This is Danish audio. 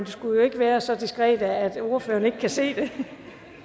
skal jo ikke være så diskret at ordførerne ikke kan se det